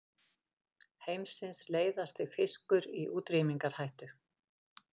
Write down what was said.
Heimsins leiðasti fiskur í útrýmingarhættu